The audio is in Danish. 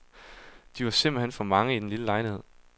De var simpelthen for mange i den lille lejlighed.